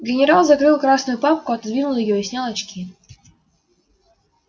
генерал закрыл красную папку отодвинул её и снял очки